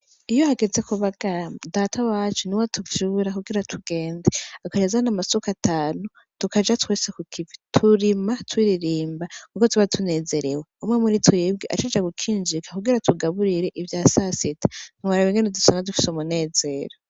Iyo hageze kubagara Data wacu niwe atuvyura kugira tugende, agaca azana amasuka atanu, tukaja twese Kukivi turima turirimba kuko tuba tunezerewe umwe muri twebwe acaja gukinjika kugira atugaburire ivya sasita ntiworaba ingene usanga dufise umunezero.